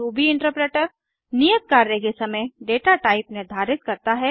Ruby interpreter नियत कार्य के समय डेटा टाइप निर्धारित करता है